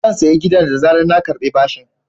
Zan sayi gidan da zarar na karɓi bashin.